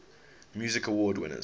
music awards winners